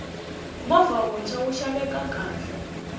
movha wuntshwa wu xaveka kahle